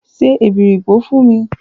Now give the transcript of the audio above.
Se èbèripò fún mi!